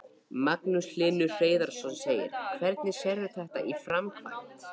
Magnús Hlynur Hreiðarsson: Hvernig sérðu þetta í framkvæmd?